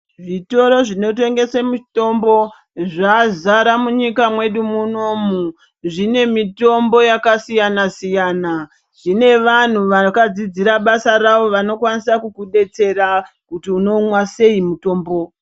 Zvitoro zvitengesa mutombo zvazara munyika mwedu munomu zvinemutombo yakasiyana siyana zvine vanhu vakadzidzira basa ravo vanokwanisa kukudetsera kuti unonwa sei mutombo .